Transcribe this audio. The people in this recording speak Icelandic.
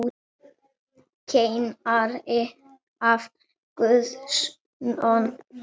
Kennari af Guðs náð.